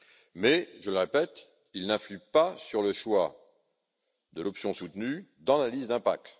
Mais, je le répète, il n'influe pas sur le choix de l'option soutenue dans l'analyse d'impact.